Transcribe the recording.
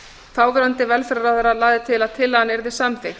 þáverandi velferðarráðherra lagði til að tillagan yrði samþykkt